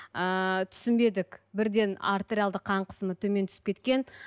ыыы түсінбедік бірден артериялды қан қысымы төмен түсіп кеткен